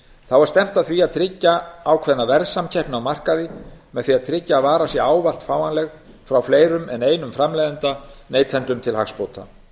þá er stefnt að því að tryggja ákveðna verðsamkeppni á markaði með því að tryggja að varan sé ávallt fáanleg frá fleirum en einum framleiðanda neytendum til hagsbóta